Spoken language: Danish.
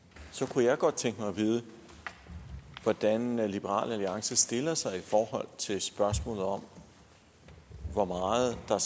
kunne jeg godt tænke mig at vide hvordan liberal alliance stiller sig til spørgsmålet om hvor meget der